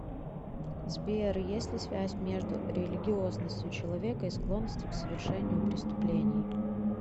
сбер есть ли связь между религиозностью человека и склонностью к совершению преступлений